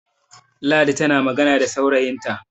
ladi tana magana da saurayinta